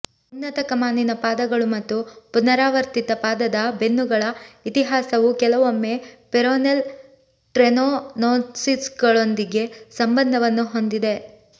ಉನ್ನತ ಕಮಾನಿನ ಪಾದಗಳು ಮತ್ತು ಪುನರಾವರ್ತಿತ ಪಾದದ ಬೆನ್ನುಗಳ ಇತಿಹಾಸವು ಕೆಲವೊಮ್ಮೆ ಪೆರೋನೆಲ್ ಟ್ರೆನೋನೋಸಿಸ್ಗಳೊಂದಿಗೆ ಸಂಬಂಧವನ್ನು ಹೊಂದಿವೆ